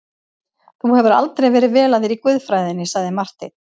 Þú hefur aldrei verið vel að þér í guðfræðinni, sagði Marteinn.